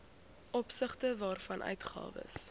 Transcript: opsigte waarvan uitgawes